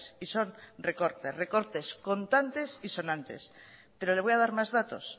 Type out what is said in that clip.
y son recortes recortes contantes y sonantes pero le voy a dar más datos